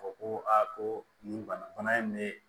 Fɔ ko ko nin bana in bɛ